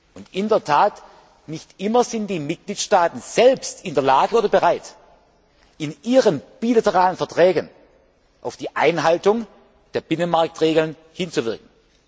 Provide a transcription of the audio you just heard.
Und in der Tat Nicht immer sind die Mitgliedstaaten selbst in der Lage oder bereit, in ihren bilateralen Verträgen auf die Einhaltung der Binnenmarktregeln hinzuwirken.